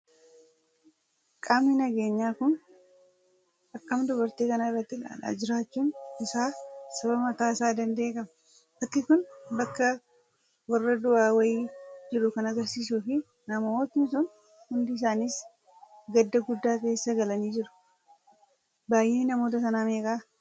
Qaamni nageenyaa kun, akkam dubartii kana itti ilaalaa jiraachuun isaa, sababa mataa isaa danda'e qaba. Bakki Kun bakkee warra du'aa wayii jiru kan argisiisuu fi namootni sun hundi isaanis gadda guddaa keessa galanii jiru. Baayyinni namoota sanaa meeqa?